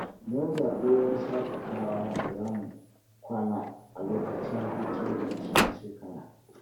Mun zaɓi wurin shaƙatawa da za mu kwana a lokacin hutun ƙarshen shekara.